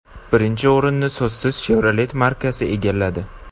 Birinchi o‘rinni so‘zsiz Chevrolet markasi egalladi.